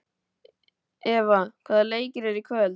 Eva, hvaða leikir eru í kvöld?